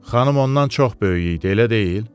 Xanım ondan çox böyük idi, elə deyil?